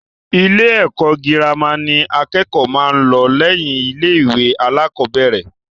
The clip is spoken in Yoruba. Ilé ẹ̀kọ́ girama ni àkẹ́kọ̀ọ́ máa ń lọ lẹ́yìn ilé-ìwé alákọ̀ọ́bẹ̀rẹ̀.